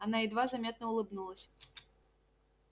она едва заметно улыбнулась